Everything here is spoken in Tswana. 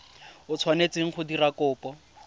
o tshwanetseng go dira kopo